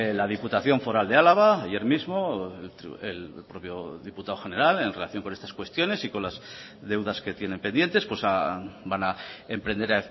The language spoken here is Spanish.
la diputación foral de álava ayer mismo el propio diputado general en relación con estas cuestiones y con las deudas que tienen pendientes van a emprender